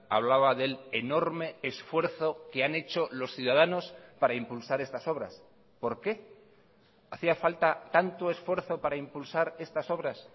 hablaba del enorme esfuerzo que han hecho los ciudadanos para impulsar estas obras por qué hacía falta tanto esfuerzo para impulsar estas obras